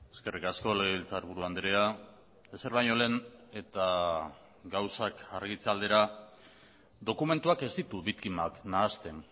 eskerrik asko legebiltzarburu andrea ezer baino lehen eta gauzak argitze aldera dokumentuak ez ditu biktimak nahasten